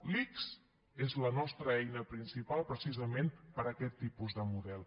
l’ics és la nostra eina principal precisament per a aquest tipus de model